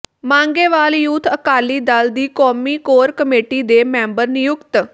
Mangewal youth Akali Dal ਦੀ ਕੌਮੀ core committee ਦੇ ਮੈਂਬਰ ਨਿਯੁਕਤ